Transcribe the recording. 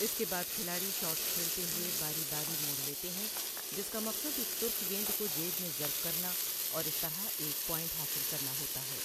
اس کے بعد کھلاڑی شاٹس کھیلتے ہوئے باری باری موڑ لیتے ہیں، جس کا مقصد ایک سرخ گیند کوجیب میں ظرف کرنا اور اس طرح ایک پوائنٹ حاصل کرنا ہوتا ہے۔